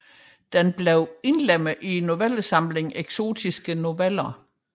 Den blev indlemmet i novellesamlingen Eksotiske Noveller